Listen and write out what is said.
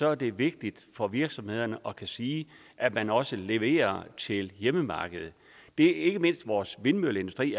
er det vigtigt for virksomhederne at kunne sige at man også leverer til hjemmemarkedet det er ikke mindst vores vindmølleindustri